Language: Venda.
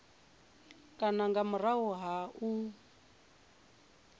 kana nga murahu ha u